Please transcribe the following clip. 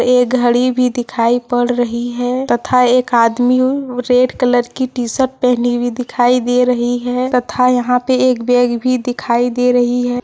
एक घड़ी भी दिखाई पड़ रही है तथा एक आदमी रेड कलर की टी शर्ट पहनी हुई दिखाई दे रही है तथा यहां पे एक बैग भी दिखाई दे रही है।